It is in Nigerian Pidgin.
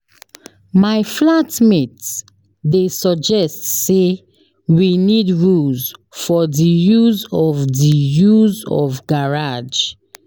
My flat mate dey suggest sey we need rules for di use of di use of garage.